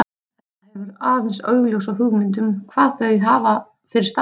Edda hefur aðeins óljósa hugmynd um hvað þau hafa fyrir stafni.